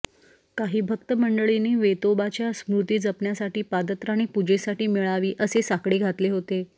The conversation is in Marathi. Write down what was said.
काही भक्त मंडळींनी वेतोबाच्या स्मृती जपण्यासाठी पादत्राणे पूजेसाठी मिळावी असे साकडे घातले होते